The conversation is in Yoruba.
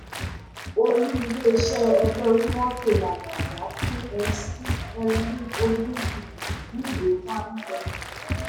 olú iléeṣẹ́ ẹgbẹ́ onímọ́tò làbàjá fún mc olmudi níwèé wàá-wí